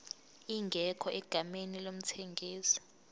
ingekho egameni lomthengisi